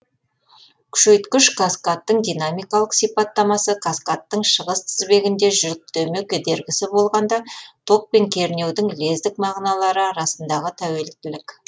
күшейткіш каскадтың динамикалық сипаттамасы каскадтың шығыс тізбегінде жүктеме кедергісі болғанда ток пен кернеудің лездік мағыналары арасындағы тәуелділік